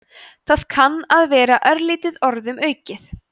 það kann að vera örlítið orðum aukið